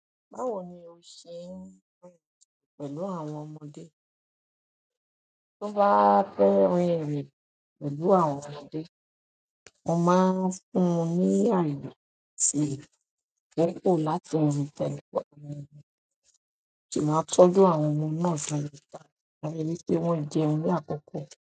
Báwo ni o ṣe ń rìn pẹ̀lú àwọn ọmọdé? Tó bá fẹ́ rìn ìrìn pẹ̀lú àwọn ọmọdé, mo máa ń fún wọn ní ààyè síi, àkókò láti múra, mo sì máa ń tọ́jú àwọn ọmọ náà dáadáa, máa rí wípé wọ́n jẹun ní àkókò.